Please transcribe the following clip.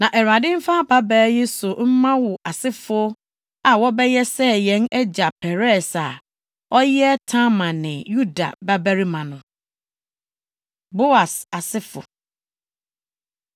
Na Awurade mfa ababaa yi so mma wo asefo a wɔbɛyɛ sɛ yɛn agya Peres + 4.12 Na Peres yɛ Boas aseni (\+xt Mat 1.3; Luk 3.33\+xt*). a ɔyɛ Tamar ne Yuda babarima no.” Boas Asefo